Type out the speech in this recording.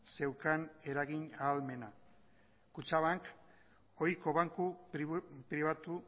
zeukan eragin ahalmena kutxabank ohiko banku pribatu